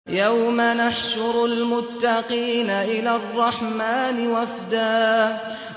يَوْمَ نَحْشُرُ الْمُتَّقِينَ إِلَى الرَّحْمَٰنِ وَفْدًا